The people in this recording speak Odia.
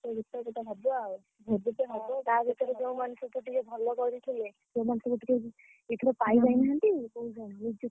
ନାଚ ଗୀତ ଫିତ ହବ ଆଉ ଭୋଜିଟେ ହବ ତା ଭିତରେ ଯୋଉ ମାନେ ସବୁ ଟିକେ ଭଲ କରିଥିଲେ ସେମାନେ ସବୁ ଟିକେ ଏଥର ପାଇ ଯାଇନାହାନ୍ତି ।